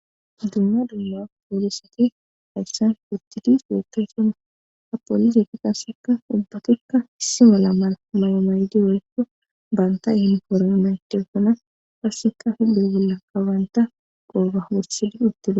dumma dumma poolisati ayssan fitidis dekkesana happolise ki qassekka ubbatikka issi mala mala may7omaydi oykko baantay hin koro yunayted sona passeka hi dugulla kabanta qoba hoossidi uttida